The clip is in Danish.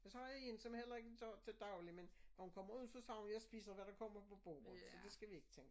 Så har jeg én som heller ikke gør det til dagligt men når hun kommer ud så siger hun jeg spiser hvad der kommer på bordet så det skal vi ikke tænke